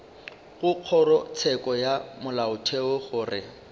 go kgorotsheko ya molaotheo gore